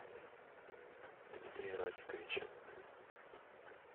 дмитрия рафиковича